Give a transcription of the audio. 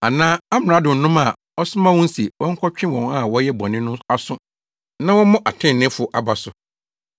anaa amradonom a ɔsoma wɔn se wɔnkɔtwe wɔn a wɔyɛ bɔne no aso na wɔmmɔ atreneefo aba so.